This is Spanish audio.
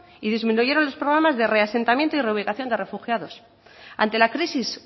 y disminuyeron los programas de reasentamiento y reubicación de refugiados ante la crisis